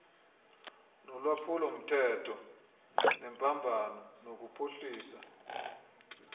nolwaphulomthetho nembambano nokuphuhlisa